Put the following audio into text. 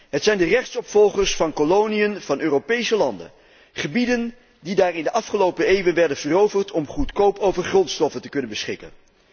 Het zijn de rechtsopvolgers van koloniën van Europese landen, gebieden die daar in de afgelopen eeuwen werden veroverd om goedkoop over grondstoffen te kunnen beschikken.